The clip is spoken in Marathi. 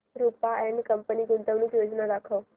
रुपा अँड कंपनी गुंतवणूक योजना दाखव